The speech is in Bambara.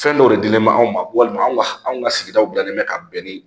Fɛn dɔw de dilen bɛ anw ma walima anw ka anw ka sigidaw bilalen bɛ ka bɛn ni